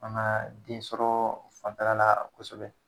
Faŋaa den sɔrɔɔ fanfɛla laa kosɛbɛ